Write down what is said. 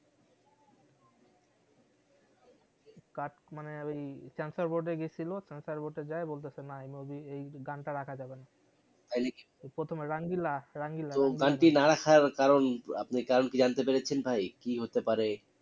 Cut মানে ওই censor board এ গেছিলো censor board এ যায়া বলতেসে না এই movie র এই গানটা রাখা যাবে না তাই নাকি প্রথমে রঙিলা রঙিলা ওই গানটি না রাখার কারন আপনি কারণ কি জানতে পেরেছেন ভাই কি হতে পারে?